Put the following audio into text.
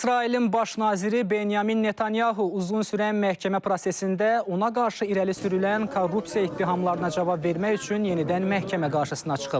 İsrailin baş naziri Benyamin Netanyahu uzun sürən məhkəmə prosesində ona qarşı irəli sürülən korrupsiya ittihamlarına cavab vermək üçün yenidən məhkəmə qarşısına çıxıb.